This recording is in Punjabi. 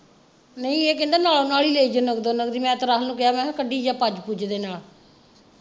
ਨਹੀਂ ਨਹੀਂ ਇਹ ਕਹਿੰਦਾ ਨਾਲ ਨਾਲ ਹੀ ਲਈ ਜਾਓ ਨੱਕਦੋ ਨੱਕਦ ਹੀ ਮੈਂ ਤਾਂ ਰਾਹੁਲ ਨੂੰ ਕਿਹਾ ਮੈਂ ਕਿਹਾ ਕੱਢੀ ਜਾ ਪੱਜ ਪੁੱਜ ਦੇ ਨਾਲ।